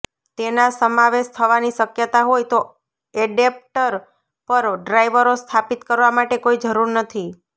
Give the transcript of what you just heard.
તેના સમાવેશ થવાની શક્યતા હોય તો એડેપ્ટર પર ડ્રાઇવરો સ્થાપિત કરવા માટે કોઈ જરૂર નથી